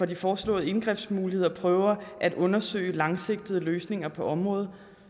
de foreslåede indgrebsmuligheder prøver at undersøge langsigtede løsninger på området